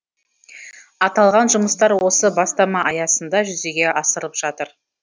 аталған жұмыстар осы бастама аясында жүзеге асырылып жатыр